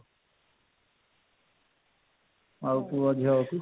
ଆଉ ପୁଅ ଝିଅ ହଉ କି